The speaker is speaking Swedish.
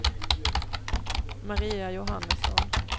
Maria Johannesson